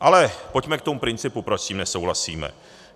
Ale pojďme k tomu principu, proč s tím nesouhlasíme.